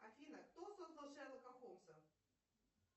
афина кто создал шерлока холмса